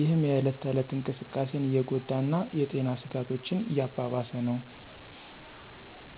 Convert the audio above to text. ይህም የእለት ተእለት እንቅስቃሴን እየጎዳ እና የጤና ስጋቶችን እያባባሰ ነው።